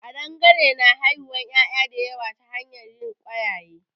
Ƙadangare na haihuwan ƴaƴa da yawa ta hanyar yin ƙwayaye